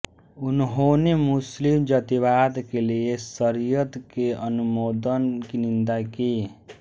उन्होंने मुस्लिम जातिवाद के लिए शरीयत के अनुमोदन की निंदा की